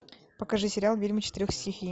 покажи сериал ведьмы четырех стихий